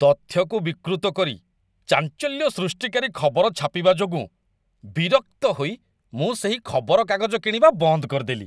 ତଥ୍ୟକୁ ବିକୃତ କରି ଚାଞ୍ଚଲ୍ୟ ସୃଷ୍ଟିକାରୀ ଖବର ଛାପିବା ଯୋଗୁଁ ବିରକ୍ତ ହୋଇ ମୁଁ ସେହି ଖବରକାଗଜ କିଣିବା ବନ୍ଦ କରିଦେଲି